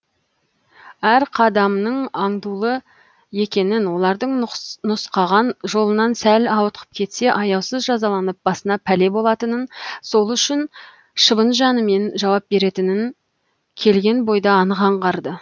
әр қадамының аңдулы екенін олардың нұсқаған жолынан сәл ауытқып кетсе аяусыз жазаланып басына пәле болатынын сол үшін шыбын жанымен жауап беретінін келген бойда анық аңғарды